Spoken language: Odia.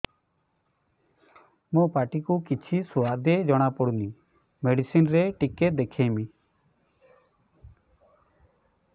ମୋ ପାଟି କୁ କିଛି ସୁଆଦ ଜଣାପଡ଼ୁନି ମେଡିସିନ ରେ ଟିକେ ଦେଖେଇମି